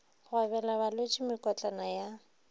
go abela balwetši mekotlana ya